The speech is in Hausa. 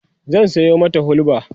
zan Sayo mata hulba